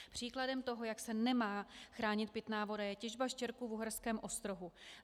Příkladem toho, jak se nemá chránit pitná voda, je těžba štěrku v Uherském Ostrohu.